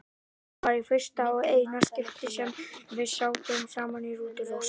Þetta var í fyrsta og eina skiptið sem við sátum saman í rútu, Rósa.